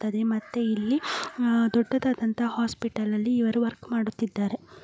ಅದೇ ಮತ್ತೆ ಇಲ್ಲಿ ಆಹ್ಹ್ ದೊಡ್ಡದಾದ ಹಾಸ್ಪಿಟಲ್ ಅಲ್ಲಿ ವರ್ಕ್ ಮಾಡುತಿದ್ದಾರೆ .